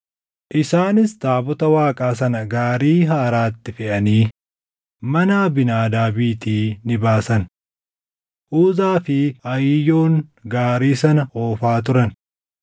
Isaanis taabota Waaqaa sana gaarii haaraatti feʼanii mana Abiinaadaabiitii ni baasan; Uzaa fi Ahiiyoon gaarii sana oofaa turan.